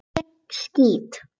Ég skýt!